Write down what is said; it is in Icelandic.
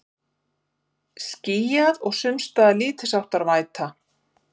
Skýjað og sums staðar lítilsháttar væta